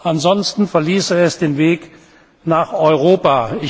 Ansonsten verließe es den Weg nach Europa.